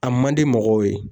A man di mɔgɔw ye